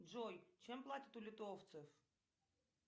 джой чем платят у литовцев